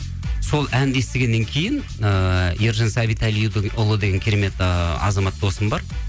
сол әнді естігеннен кейін ыыы ержан сәбиталидіңұлы деген керемет ыыы азамат досым бар